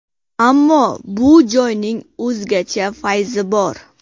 Ammo bu joyning o‘zgacha fayzi bor.